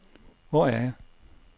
Hvor er jeg